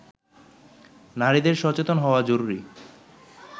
নারীদের সচেতন হওয়া জরুরি